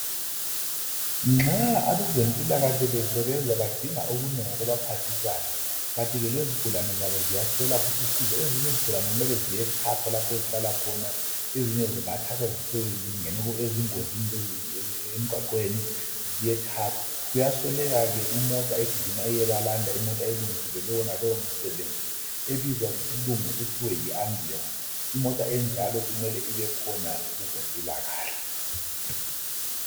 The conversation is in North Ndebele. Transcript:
Nxa abezempilakahle besebenza badinga okunengi okubaphathisayo kanti ke lezigulane zabo ziyaswela futhi usizo ezinye izigulane kumele ziyethathwa lapho ezihlala khona ezinye zingathathwa ezingene engozini emgwaqweni ziyethathwa kuyasweleka ke imota egijima iyebalanda imota elungiselelwe lowo msebenzi ebizwa ngesilungu kuthiwe yi ambulensi imota enjalo kumele ibekhona kwezempilakahle.